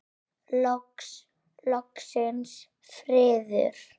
Loksins friður!